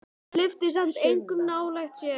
En hún hleypti samt engum nálægt sér.